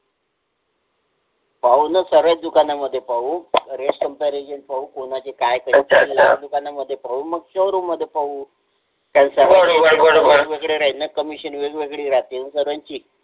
पाहून साऱ्याच दुकानांमध्ये पाहू rate comparison पाहु कोनाचे काय rate अच्छा अच्छा पहिले दुकानामधे पाहु मग show room मधे पाहु commission वेगवेगळी राहिली ना सर्वांची